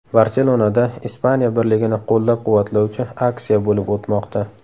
Barselonada Ispaniya birligini qo‘llab-quvvatlovchi aksiya bo‘lib o‘tmoqda.